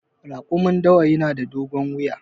Raƙumin dawa yana da dogon wuya.